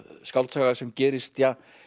skáldsaga sem gerist